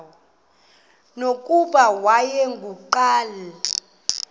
nokuba wayengu nqal